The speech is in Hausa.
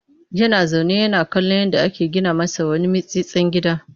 Yana zaune yana kallon yadda ake gina masa wani mitstsin gida